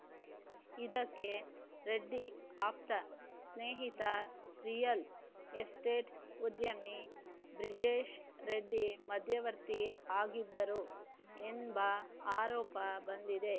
ಇದಕ್ಕೆ ರೆಡ್ಡಿ ಆಪ್ತ ಸ್ನೇಹಿತ ರಿಯಲ್‌ ಎಸ್ಟೇಟ್‌ ಉದ್ಯಮಿ ಬ್ರಿಜೇಶ್‌ ರೆಡ್ಡಿ ಮಧ್ಯವರ್ತಿ ಆಗಿದ್ದರು ಎಂಬ ಆರೋಪ ಬಂದಿದೆ